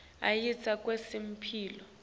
ayasita kwetemphilo